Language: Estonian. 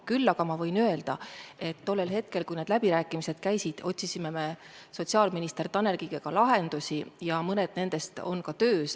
Küll aga võin öelda, et tollel hetkel, kui need läbirääkimised käisid, otsisime me sotsiaalminister Tanel Kiigega lahendusi ja mõned nendest on ka töös.